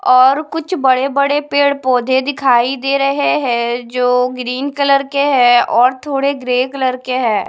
और कुछ बड़े-बड़े पेड़-पौधे दिखाई दे रहे हैं जो ग्रीन कलर के हैं और थोड़े ग्रे कलर के हैं।